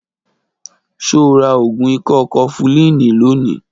Ṣo ra ògùn ikọ́ kọfulínì lónìí?